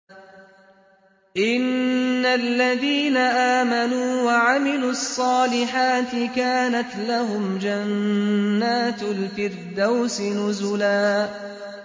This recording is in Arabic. إِنَّ الَّذِينَ آمَنُوا وَعَمِلُوا الصَّالِحَاتِ كَانَتْ لَهُمْ جَنَّاتُ الْفِرْدَوْسِ نُزُلًا